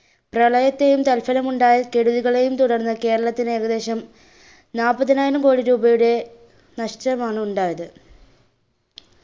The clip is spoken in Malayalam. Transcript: പ്രളയത്തെയും തല്‍സലമുണ്ടായ കെടുതികളെയും തുടർന്നു കേരളത്തിൽ ഏകദേശം നാല്പതിനായിരം കോടി രൂപയുടെ നഷ്ടം ആണ് ഉണ്ടായത്.